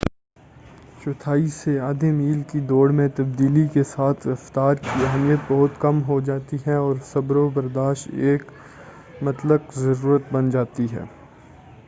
چوتھائی سے آدھے میل کی دوڑ میں تبدیلی کے ساتھ رفتار کی اہمیت بہت کم ہو جاتی ہے اور صبر و برداشت ایک مطلق ضرورت بن جاتی ہے